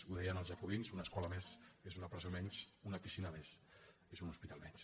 ho deien els jacobins una escola més és una presó menys una piscina més és un hospital menys